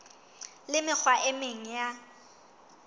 le mekgwa e meng ya